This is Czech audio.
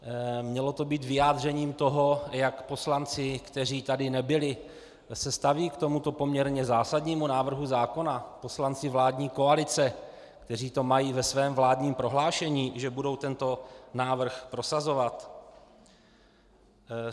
Mělo to být vyjádřením toho, jak poslanci, kteří tady nebyli, se stavějí k tomuto poměrně zásadnímu návrhu zákona, poslanci vládní koalice, kteří to mají ve svém vládním prohlášení, že budou tento návrh prosazovat?